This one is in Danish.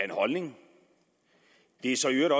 en holdning og det er så i øvrigt